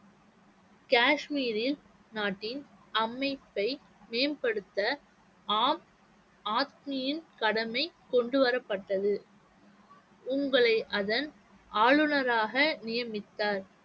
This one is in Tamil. காஷ்மீரில் நாட்டின் அமைப்பை மேம்படுத்த ஆம் ஆத்மியின் கடமை கொண்டுவரப்பட்டது உங்களை அதன் ஆளுநராக நியமித்தார்